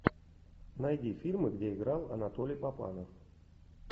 найди фильмы где играл анатолий папанов